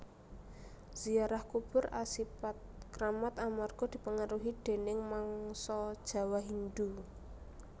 Ziarah kubur asipat kramat amarga dipengaruhi déning mangsa Jawa Hindhu